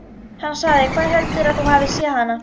Hann sagði: Hvar heldurðu að þú hafir séð hana?